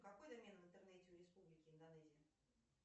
какой домен в интернете у республики индонезия